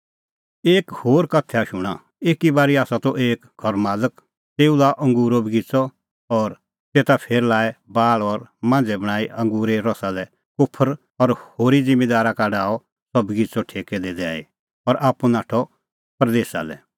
एक होर उदाहरण शूणां एक घर मालक त तेऊ लाअ अंगूरो बगिच़अ और तेता फेर लाऐ बाल़ और मांझ़ै बणांईं अंगूरे रसा लै कोफर और होरी ज़िम्मींदारा का डाहअ सह बगिच़अ ठेकै दी दैई और आप्पू नाठअ परदेसा लै